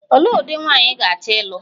Olee ụdị nwaanyị ị ga-achọ ịlụ?